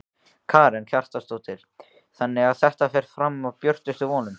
Karen Kjartansdóttir: Þannig að þetta fer fram úr björtustu vonum?